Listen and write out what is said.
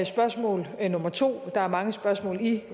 spørgsmål der er mange spørgsmål i